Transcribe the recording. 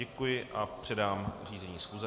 Děkuji a předám řízení schůze.